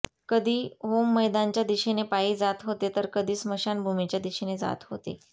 कधी होममैदानच्या दिशेने पायी जात होते तर कधी स्मशानभूमीच्या दिशेने जात होते